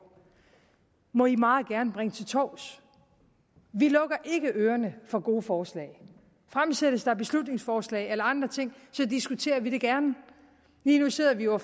må de meget gerne bringe til torvs vi lukker ikke ørerne for gode forslag fremsættes der beslutningsforslag eller andre ting så diskuterer vi det gerne lige nu sidder vi jo